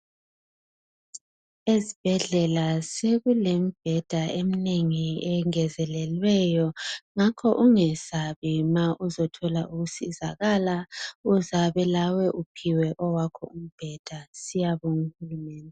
Ezibhedlela sekulemibheda eminengi engezelelweyo ngakho ungesabi ma uzothola ukusizakala uzabe lawe uphiwe owakho umbheda, siyabonga uhulumende.